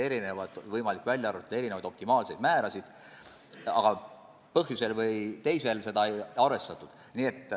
Oli võimalik välja arvutada erinevaid optimaalseid määrasid, aga ühel või teisel põhjusel seda ei arvestatud.